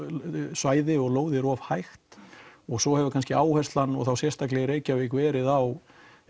svæði og lóðir of hægt og svo hefur áherslan sérstaklega í Reykjavík verið á